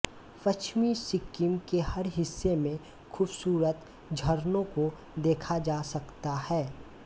पश्चिमी सिक्किम के हर हिस्से में खूबसूरत झरनों को देखा जा सकता है